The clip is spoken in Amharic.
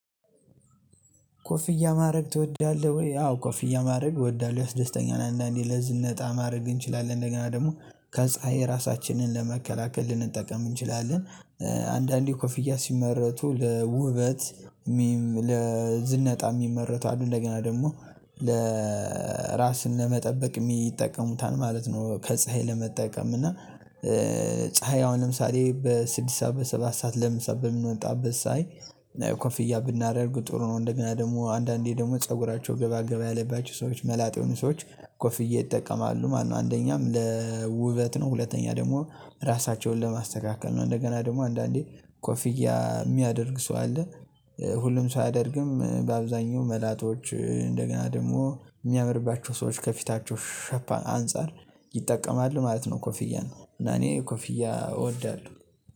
ኮፍያ ማድረግ ትወዳለህ ወይ? አዎ ኮፍያ ማድረግ እወዳለሁ ያስደስተኛል አንዳንዴ ለዝነጣ ማድረግ እንችላለን እንደገና ደግሞ ከፀሀይ ራሳችንን ለመከላከል ልንጠቀም እንችላለን። አንዳንዴ ኮፍያ ሲመረቱ ለውበት ለዝነጣ የሚመረቱ አሉ እንደገና ደግሞ ለራስን ለመጠበቅ የሚጠቀሙታል ማለት ነው። ከፀሀይ ለመጠቀም እና ፀሀይ አሁን ለምሳሌ በስድስት ሰዓት በሰባት ሰዓት ለምሳ በምንወጣበት ፀሀይ ኮፍያ ብናደርግ ጥሩ ነው። እንደገና ደግሞ አንዳንዴ ደግሞ ፀጉራቸው ገባገባ ያለባቸው ሰዎች መላጣ የሆኑ ሰዎች ኮፍዬ ይጠቀማሉ ማለት ነው። አንደኛም ለውበት ነው ሁለተኛ ደግሞ ራሳቸውን ለማስተካከል ነው። እንደገና ደግሞ አንዳንዴ ኮፍያ የሚያደርግ ሰው አለ። ሁሉም ሰው አያደርግም በአብዛኛው መላጦች እንደገና ደግሞ የሚያምርባቸው ሰዎች ከፊታቸው ሸፒ አንፃር ይጠቀማል ማለት ነው። ኮፊያን እና እኔ ኮፊያን እወዳለሁ